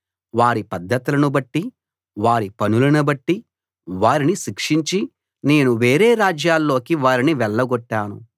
వారి పద్ధతులను బట్టి వారి పనులను బట్టి వారిని శిక్షించి నేను వేరే రాజ్యాల్లోకి వారిని వెళ్లగొట్టాను